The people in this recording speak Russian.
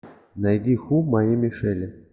найди ху моей мишели